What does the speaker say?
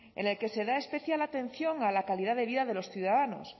en la que se da especial atención a la calidad de vida de los ciudadanos